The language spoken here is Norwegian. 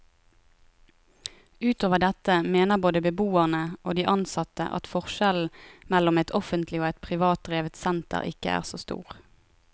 Utover dette mener både beboerne og de ansatte at forskjellen mellom et offentlig og et privatdrevet senter ikke er så stor.